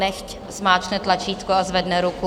Nechť zmáčkne tlačítko a zvedne ruku.